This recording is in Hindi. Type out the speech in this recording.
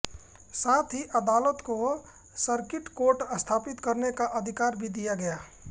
साथ ही अदालत को सर्किट कोर्ट स्थापित करने का अधिकार भी दिया गया